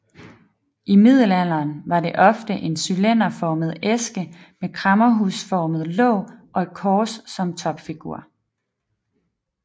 I middelalderen var det ofte en cylinderformet æske med kræmmerhusformet låg og et kors som topfigur